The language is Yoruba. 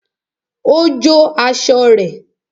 Ó jó aṣọ rẹ̀